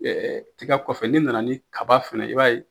tiga kɔfɛ, ne nana ni kaba fɛnɛ ye, i b'a ye.